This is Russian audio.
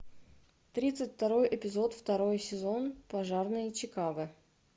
тридцать второй эпизод второй сезон пожарные чикаго